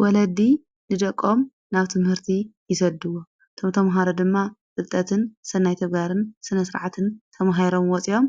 ወለዲ ንደቆም ናብቲ ምህርቲ ይሰድዎ ቶምቶም መሃሮ ድማ ጽልጠትን ሠናይቲፍጋርን ስነሥርዓትን ተምሃይሮም ወፂኦም፤